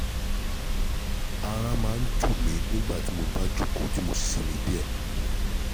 Ara máa ń tù mí nígbà tí mo bá jókòó tí mo sì sinmi díẹ̀